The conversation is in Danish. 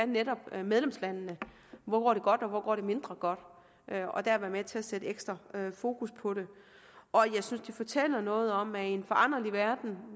netop er medlemslandene hvor går det godt og hvor går det mindre godt og der være med til at sætte ekstra fokus på det jeg synes det fortæller noget om at i en foranderlig verden